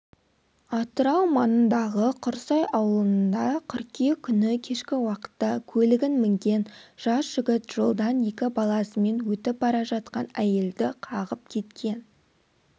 атырау маңындағы құрсай аулыныда қыркүйек күні кешкі уақытта көлігін мінген жас жігіт жолдан екі баласымен өтіп бара жатқан әйелді қағып кеткен